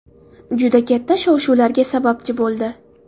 Juda katta shov-shuvlarga sababchi bo‘ldi.